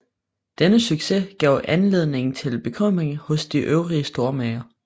Denne succes gav anledning til bekymring hos de øvrige stormager